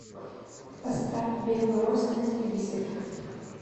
поставь белрос на телевизоре